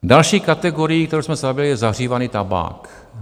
Další kategorií, kterou jsme se zabývali, je zahřívaný tabák.